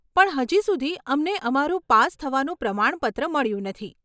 પણ હજી સુધી અમને અમારું પાસ થવાનું પ્રમાણપત્ર મળ્યું નથી.